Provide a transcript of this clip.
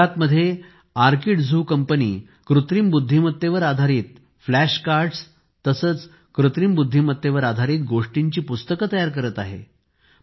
गुजरातमध्ये आर्किडझू कंपनी कृत्रिम बुद्धिमत्तेवर आधारित फ्लॅश कार्डस तसेचकृत्रिम बुद्धिमत्तेवर आधारित गोष्टींची पुस्तके तयार करत आहे